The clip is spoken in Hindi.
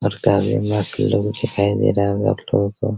और काफी मस्त लुक दिखाई दे रहा होगा आपलोगो को --